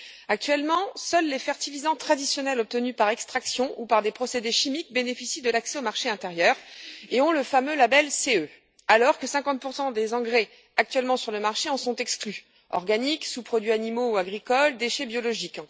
Actuellement, seuls les fertilisants traditionnels obtenus par extraction ou par des procédés chimiques bénéficient de l'accès au marché intérieur et ont le fameux label CE, alors que 50 des engrais actuellement sur le marché en sont exclus organiques, sous produits animaux ou agricoles, déchets biologiques.